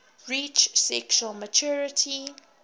reach sexual maturity